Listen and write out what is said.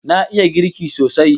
Na iya girki sosai